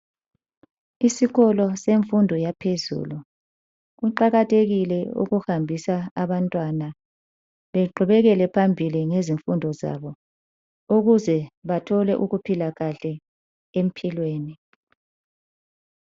Isikolo semfundo yaphezulu. Kuqakathekile ukufundisa abantwana beqhubekele phambili ngezifundo zabo ukuze bathole ukuphila kahle empilweni.